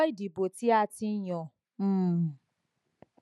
kò sí ọjọ ìdìbò tí a ti yàn um